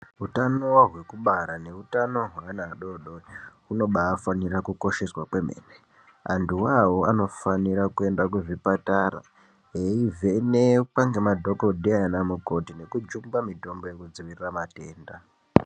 Utano hwekubara neutano hweana adodori hunoba fanira kukosheswa kwemene. Antuwo awo anofanira kuenda kuzvipatara veivhenekwa ngema dhokodheya namukoti nekujungwa mitombo yekudzivirira matenda.